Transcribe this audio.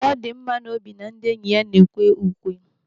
Ọ dị m n'obi na ndị enyi ya na-ekwe ukwe.